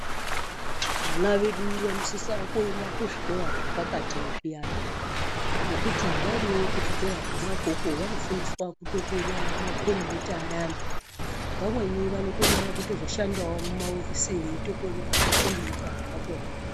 Vana vedu vanosisa kuenda kuzvikora zvepakati zviyana, ngekuti variyo kuzvikora kwona ikoko vanofundiswa kutokonya makombiyuta ayani. Vamweni vanokona kutozoshandawo muma ofisi veitokonya makombiyuta akona.